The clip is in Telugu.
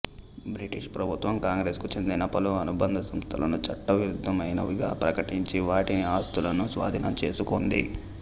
బ్రిటిషు ప్రభుత్వం కాంగ్రెసుకు చెందిన పలు అనుబంధ సంస్థలను చట్ట విరుద్ధమైనవిగా ప్రకటించి వాటి ఆస్తులను స్వాధీనం చేసుకుంది